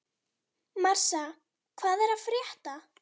Marsa, hvað er að frétta?